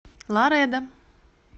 ларедо